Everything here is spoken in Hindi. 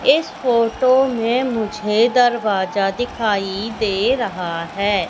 इस फोटो में मुझे दरवाजा दिखाई दे रहा है।